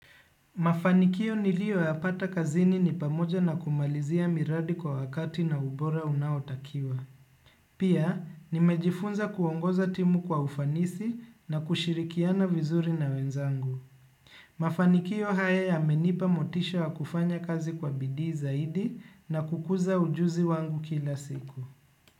Mafanikio niliyo yapata kazini ni pamoja na kumalizia miradi kwa wakati na ubora unaotakiwa. Pia, nimejifunza kuongoza timu kwa ufanisi na kushirikiana vizuri na wenzangu. Mafanikio haya yamenipa motisha wa kufanya kazi kwa bidii zaidi na kukuza ujuzi wangu kila siku.